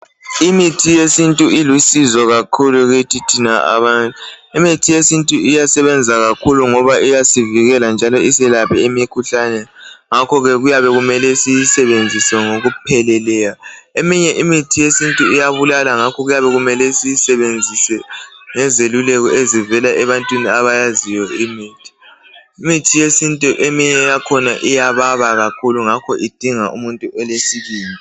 Imithi yesintu ilusizo kakhulu kithi thina abantu. Imithi yesintu iyasebenza kakhulu ngobayasivikela iphinde iselaphe emikhuhlaneni. Ngakho kumele siyisebenzise ngokupheleleyo Imithi yesintu iyabulala ngakho kuyabe kumele siyisebenzise ngezeluleko zabantu abalolwazi ngemithi yesintu eminye yakhona iyababa ngakho idinga umntu olesibindi